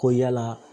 Ko yala